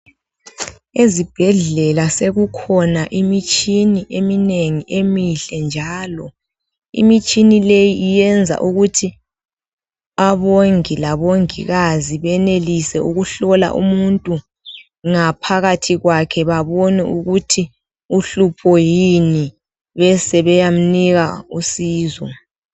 Ezibhedlela sekukhona imitshini eminengi emihle njalo, imitshini leyi iyenza ukuthi, abongi labongikazi benelise ukuhlola umuntu ngaphakathi kwakhe babone ukuthi uhlupho yini besebeyamnika usizo.